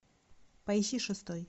поищи шестой